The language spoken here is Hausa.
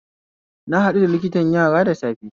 Na haɗu da liktan yara da safe